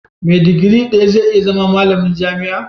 Me digiri daya zai iya zama malamin jami'a?